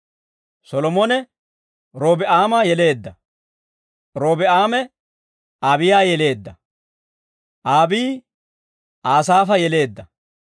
Solomone, Robi'aama yeleedda; Robi'aame, Aabiyaa yeleedda; Abii, Asaafa yeleedda.